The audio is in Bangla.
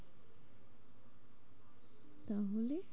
তাহলে?